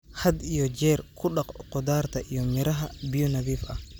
Had iyo jeer ku dhaq khudaarta iyo miraha biyo nadiif ah.